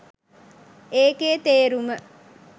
ඒකේ තේරුම